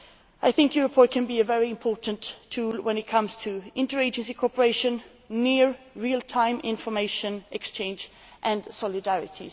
I think Eurosur can be a very important tool when it comes to inter agency cooperation, near real time information exchange and solidarity.